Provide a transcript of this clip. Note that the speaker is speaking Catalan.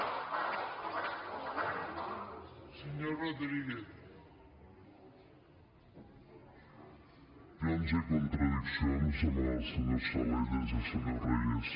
per al·lusions i contradiccions amb el senyor salellas i el senyor reyes